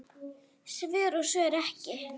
Svör og svör ekki.